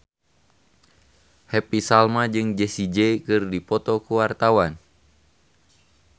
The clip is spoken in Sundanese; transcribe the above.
Happy Salma jeung Jessie J keur dipoto ku wartawan